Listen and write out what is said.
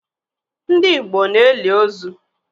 Ndị Igbo na-eli ozu.